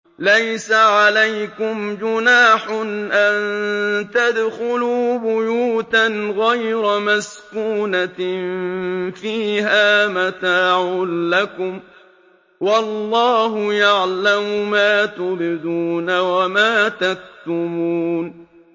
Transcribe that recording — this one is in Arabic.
لَّيْسَ عَلَيْكُمْ جُنَاحٌ أَن تَدْخُلُوا بُيُوتًا غَيْرَ مَسْكُونَةٍ فِيهَا مَتَاعٌ لَّكُمْ ۚ وَاللَّهُ يَعْلَمُ مَا تُبْدُونَ وَمَا تَكْتُمُونَ